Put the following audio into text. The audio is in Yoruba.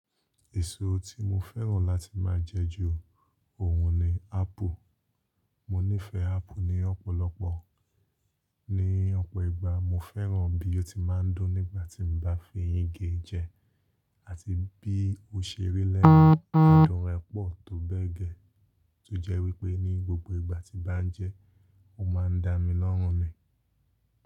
Èso tí mo fẹ́ràn láti máa jẹ ju ohun ni apple. Mo nífẹ̀ẹ́ apple ní ọ̀pọ̀lọpọ̀. Ni ọ̀pọ̀ ìgbà mo fẹ́ràn bí ó ti máa ń dùn nígbà tí mo bá fi eyin ge jẹ, àti bí ó ṣe rí lẹ́nu, adùn rẹ̀ pọ̀ tó bẹ́ẹ̀ gẹ́, tó jẹ́ wípé ní gbogbo ìgbà tí mo bá ń jẹ ẹ́, ó máa ń dá mi lọ́rùn mi.